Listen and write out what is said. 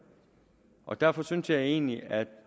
og derfor synes jeg egentlig at